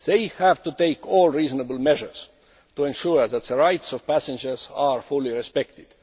They have to take all reasonable measures to ensure that the rights of passengers are fully respected.